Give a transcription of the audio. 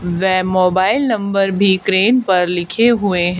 वे mobile number भी crane पर लिखे हुए--